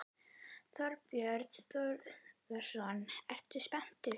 Þorbjörn Þórðarson: Ertu spenntur?